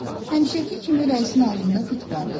Həmişəki kimi rəisin ağzında fit vardı.